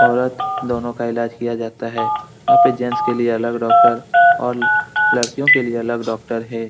औरत दोनों का इलाज़ किया जाता है यहाँ पे जेंट्स के लिए अलग डॉक्टर और लड़कियों के लिए अलग डॉक्टर है।